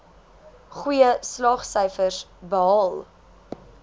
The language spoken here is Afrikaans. goeie slaagsyfers behaal